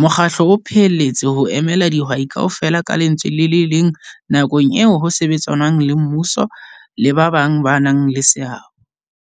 Mokgatlo o phehelletse ho emela dihwai kaofela ka lentswe le le leng nakong eo ho sebetsanwang le mmuso le ba bang ba nang le seabo.